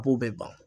A b'o bɛɛ ban